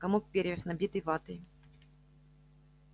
комок перьев набитый ватой